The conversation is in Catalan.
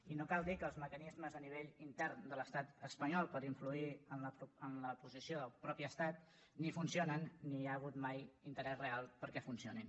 i no cal dir que els mecanismes a nivell intern de l’estat espanyol per influir en la posició del mateix estat ni funcio nen ni hi ha hagut mai interès real perquè funcionin